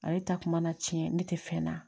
Ale ta kun mana tiɲɛ ne tɛ fɛn na